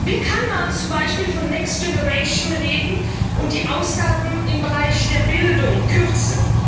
Wie kann man zum Beispiel von Next Generation reden und die Ausgaben im Bereich der Bildung kürzen?